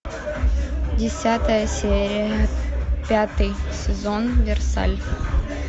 десятая серия пятый сезон версаль